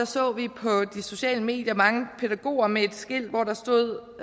så vi på de sociale medier mange pædagoger med et skilt hvor der stod